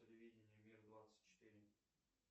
телевидение мир двадцать четыре